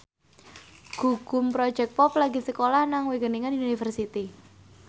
Gugum Project Pop lagi sekolah nang Wageningen University